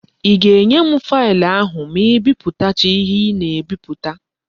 I ga-enye m faịlụ ahụ ma ị biputacha ihe ị na-ebiputa?